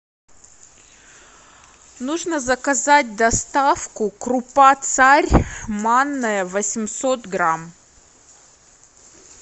нужно заказать доставку крупа царь манная восемьсот грамм